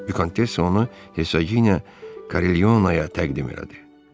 Vikontessa onu Hesaginə Korilyonaya təqdim elədi.